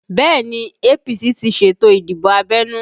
Bẹẹ ni, APC ti ṣètò ìdìbò abẹ́nú